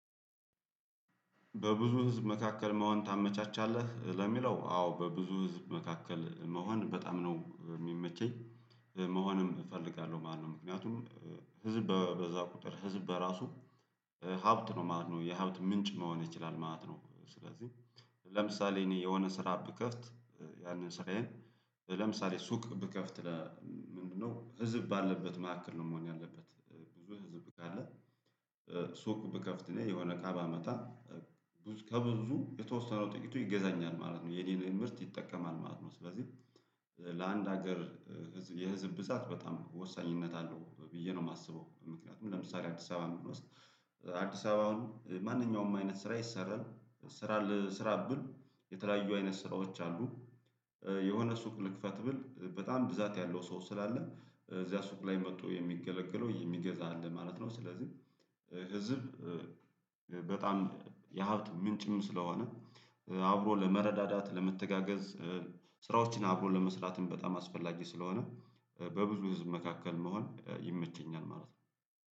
በብዙ ህዝብ መካከል መሆን የመችሀል ለሚለው አዎ በብዙ ህዝብ መካከል መሆን በጣም ነው የሚመቸኝ መሆንም እፈልጋለሁ ማለት ነው። ምክንያቱም ህዝብ በበዛ ቁጥር ህዝብ በራሱ ሀብት ነው ማለት ነው የሀብት ምንጭ መሆን ይችላል ማለት ነው። ስለዚህ ለምሳሌ እኔ የሆነ ስራ ብከፍት ያንን ስራዬን ለምሳሌ ሱቅ ብከፍት? ምንድነው ህዝብ ባለበት መካከል ነው መሆን ያለበት ብዙ ህዝብ ካለ ሱቅ ብከፍትእኔ የሆነ እቃ ባመጣ ከብዙ የተወሰነው ጥቂቱ ይገዛኛል ማለት ነው የኔንም ምርት ይጠቀማል ማለት ነው። ስለዚህ ለአንድ ሀገር የህዝብ ብዛት በጣም ወሳኝነት አለው ብዬ ነው የማስበው። ምክንያቱም ለምሳሌ አዲስ አበባ ምን ውስጥ አዲስ አበባ ማንኛውም አይነት ስራ ይሰራል ስራ ልስራብል የተለያዩ አይነት ስራዎች አሉ። የሆነ ሱቅ ልክፈት ብል በጣም ብዛት ያለው ሰው ስላለ እዚያ ሱቅ ላይ መጥቶ የሚገለግለው የሚገዛ አለ ማለት ነው። ስለዚህ ህዝብ በጣም የሀብት ምንጭም ስለሆነ አብሮ ለመረዳዳት ለመተጋገዝ ስራዎችን አብሮ ለመስራትም በጣም አስፈላጊ ስለሆነ በብዙ ህዝብ መካከል መሆን ይመቸኛል ማለት ነው።